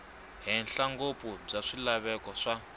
henhla ngopfu bya swilaveko swa